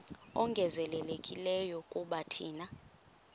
ongezelelekileyo kuba thina